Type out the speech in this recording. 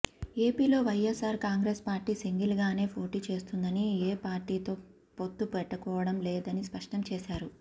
ఏపీలో వైఎస్ఆర్ కాంగ్రెస్ పార్టీ సింగిల్ గానే పోటీ చేస్తుందని ఏ పార్టీతో పొత్తు పెట్టుకోవడం లేదని స్పష్టం చేశారు